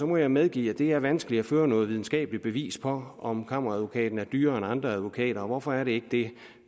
må jeg medgive at det er vanskeligt at føre noget videnskabeligt bevis for om kammeradvokaten er dyrere end andre advokater og hvorfor er det det